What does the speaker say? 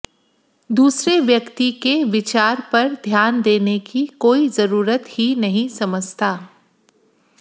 दूसरे व्यक्ति के विचार पर ध्यान देने की कोई जरूरत ही नहीं समझता